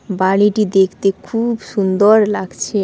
বাড়িটি দেখতে খু-উব সুন্দর লাগছে।